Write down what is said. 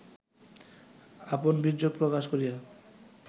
আপন বীর্যক প্রকাশ করিয়া